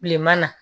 Bilema na